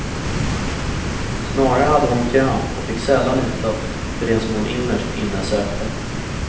Snarare hade hon kramp och fick sällan utlopp för det som hon innerst inne sökte.